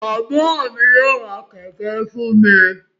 Bàbà mí yóò rá kẹkẹ fún mí